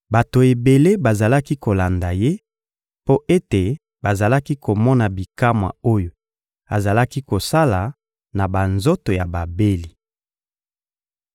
Bato ebele bazalaki kolanda Ye mpo ete bazalaki komona bikamwa oyo azalaki kosala na banzoto ya babeli.